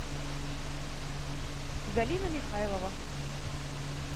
галина михайлова